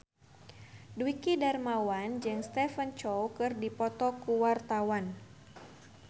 Dwiki Darmawan jeung Stephen Chow keur dipoto ku wartawan